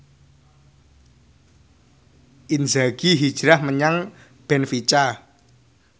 Inzaghi hijrah menyang benfica